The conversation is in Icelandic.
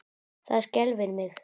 Það skelfir mig.